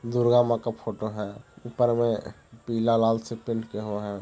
दुर्गा माँ का फोटो है ऊपर पीला लाल से पेंट किया हुआ है।